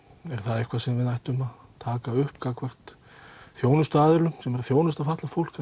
eitthvað sem við ættum að taka upp gagnvart þjónustuaðilum sem eru að þjónusta fatlað fólk